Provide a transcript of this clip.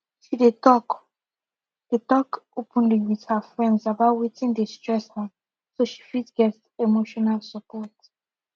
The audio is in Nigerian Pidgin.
she dey talk dey talk openly with her friends about wetin dey stress her so she fit get emotional support